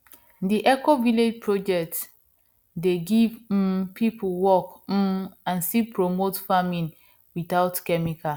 d ecovillage project dey give um people work um and still promote farming without chemical